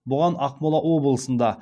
бұған ақмола облысында